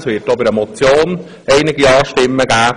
Es wird auch bei einer Motion einige Ja-Stimmen geben.